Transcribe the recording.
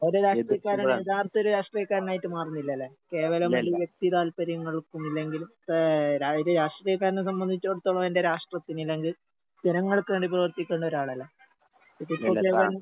ഒരു രാഷ്ട്രീയക്കാരൻ യഥാർത്ഥൊരു രാഷ്ട്രീയക്കാരനായിട്ട് മറുന്നില്ലാല്ലേ. കേവലം ഒരു വ്യക്തി താൽപര്യങ്ങൾക്കും ഇല്ലെങ്കിൽ ഏഹ് രാ ഒര് രാഷ്ട്രീയക്കാരനെ സംബന്ധിച്ചെടത്തോളം എന്റെ രാഷ്ട്രത്തിന് അല്ലെങ്കില്‍ ജനങ്ങൾക്ക് വേണ്ടി പ്രവർത്തിക്കുന്നൊരാളല്ലേ?